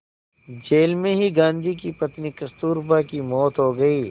jail में ही गांधी की पत्नी कस्तूरबा की मौत हो गई